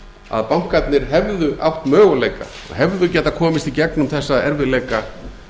að bankarnir hefðu átt möguleika og hefðu getað komist í gegnum þessa erfiðleika